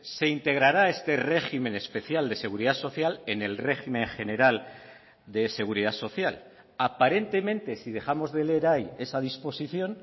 se integrará este régimen especial de seguridad social en el régimen general de seguridad social aparentemente si dejamos de leer ahí esa disposición